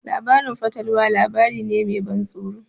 Labarin fatalwa labari ne me ban tsoro.